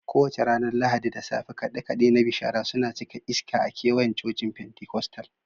Kowace ranar Lahadi da safe, kaɗe-kaɗe na bishara suna cika iska a kewayen cocin Pentikostal.